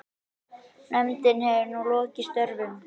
Nefndin hefur nú lokið störfum.